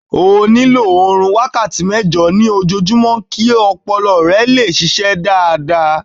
O nílò orun wákàtí mẹ́jọ ní ojojúmọ́ kí ọpọlọ rẹ lè ṣiṣẹ́ dáadáa.